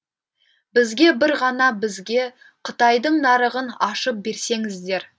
бізге бір ғана бізге қытайдың нарығын ашып берсеңіздер